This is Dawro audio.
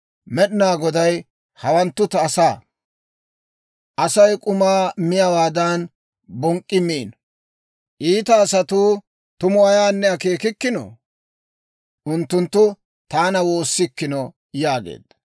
Med'inaa Goday, «Hawanttu ta asaa, asay k'umaa miyaawaadan bonk'k'i miino. Iita asatuu tumu ayaanne akeekikkino? Unttunttu taana woossikkino» yaageedda.